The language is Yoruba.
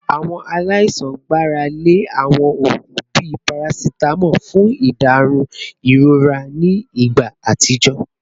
Awọn alaisan gbarale awọn oogun bii paracetamol fun iderun irora ni igba atijọ